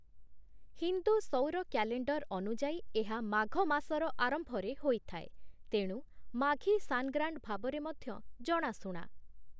ହିନ୍ଦୁ ସୌର କ୍ୟାଲେଣ୍ଡର ଅନୁଯାୟୀ ଏହା ମାଘ ମାସର ଆରମ୍ଭରେ ହୋଇଥାଏ, ତେଣୁ 'ମାଘୀ ସାନଗ୍ରାଣ୍ଡ' ଭାବରେ ମଧ୍ୟ ଜଣାଶୁଣା ।।